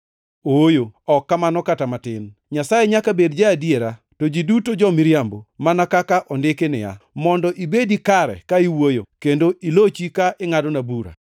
Ooyo, ok kamano kata matin! Nyasaye nyaka bed ja-adiera, to ji duto jo-miriambo, mana kaka ondiki niya, “Mondo ibedi kare ka iwuoyo kendo ilochi ka ingʼadona bura.” + 3:4 \+xt Zab 51:4\+xt*